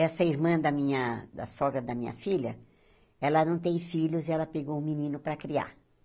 Essa irmã da minha da sogra da minha filha, ela não tem filhos e ela pegou um menino para criar.